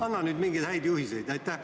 Anna nüüd mingeid häid juhiseid!